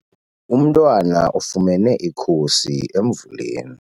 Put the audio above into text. Umntwana ufumene ikhusi emvuleni.